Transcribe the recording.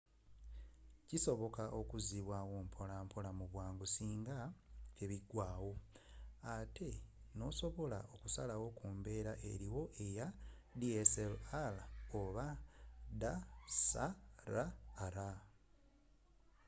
kisoboka okuzibwaawo mpola mpola mubwangu singa tebigwaawo ate nosobola okusalawo kumbeera eriwo eya dslr